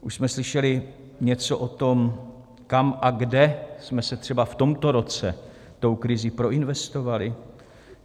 Už jsme slyšeli něco o tom, kam a kde jsme se třeba v tomto roce tou krizí proinvestovali?